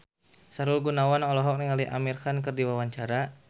Sahrul Gunawan olohok ningali Amir Khan keur diwawancara